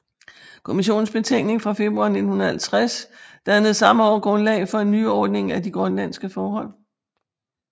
Kommissionens betænkning fra februar 1950 dannede samme år grundlag for en nyordning af de grønlandske forhold